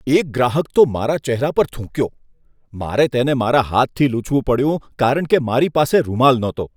એક ગ્રાહક તો મારા ચહેરા પર થૂંક્યો! મારે તેને મારા હાથથી લૂછવું પડ્યું કારણ કે મારી પાસે રૂમાલ નહોતો.